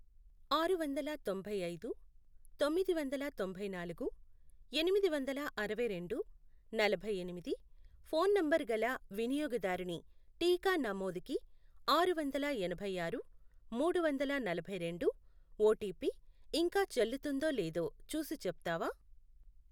ఆరువందల తొంభైఐదు, తొమ్మిది వందల తొంభై నాలుగు, ఎనిమిది వందల అరవైరెండు, నలభైఎనిమిది, ఫోన్ నంబరు గల వినియోగదారుని టీకా నమోదుకి ఆరువందల ఎనభై ఆరు, మూడు వందల నలభై రెండు ఓటిపి ఇంకా చెల్లుతుందో లేదో చూసి చెప్తావా?